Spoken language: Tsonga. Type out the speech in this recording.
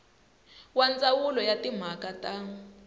wa ndzawulo ya timhaka ta